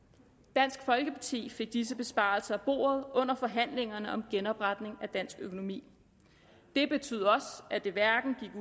dansk folkeparti fik disse besparelser af bordet under forhandlingerne om genopretning af dansk økonomi det betød også at det hverken gik